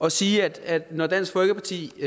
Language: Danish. at sige at når dansk folkeparti i